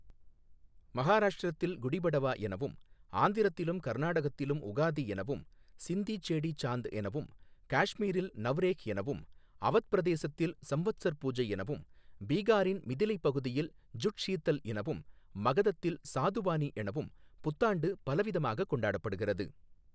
மஹாராஷ்ட்ரத்தில் குடிபடவா எனவும், ஆந்திரத்திலும் கர்நாடகத்திலும் உகாதி எனவும், சிந்தி சேடீ சாந்த் எனவும், காஷ்மீரில் நவ்ரேஹ் எனவும், அவத் பிரதேசத்தில் சம்வத்ஸர் பூஜை எனவும், பீகாரின் மிதிலைப் பகுதியில் ஜுட் ஷீதல் எனவும், மகதத்தில் சாதுவாணி எனவும் புத்தாண்டு பலவிதமாகக் கொண்டாடப்படுகிறது.